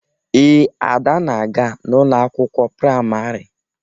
Ee, Ada na-aga n'ụlọ akwụkwọ praịmarị.